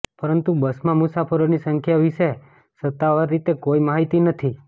પરંતુ બસમાં મુસાફરોની સંખ્યા વિશે સત્તાવાર રીતે કોઈ માહિતી નથી